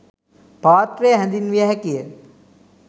පාත්‍රය හැඳින්විය හැකිය.